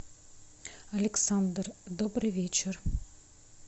александр добрый вечер